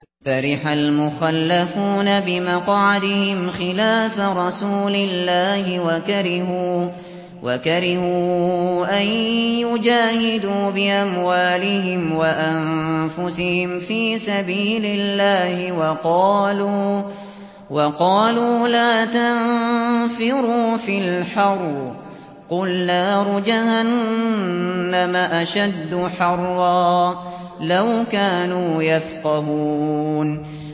فَرِحَ الْمُخَلَّفُونَ بِمَقْعَدِهِمْ خِلَافَ رَسُولِ اللَّهِ وَكَرِهُوا أَن يُجَاهِدُوا بِأَمْوَالِهِمْ وَأَنفُسِهِمْ فِي سَبِيلِ اللَّهِ وَقَالُوا لَا تَنفِرُوا فِي الْحَرِّ ۗ قُلْ نَارُ جَهَنَّمَ أَشَدُّ حَرًّا ۚ لَّوْ كَانُوا يَفْقَهُونَ